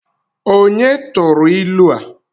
Onye turu ilu a?